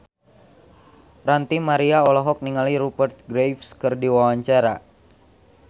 Ranty Maria olohok ningali Rupert Graves keur diwawancara